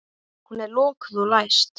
Hún er lokuð og læst.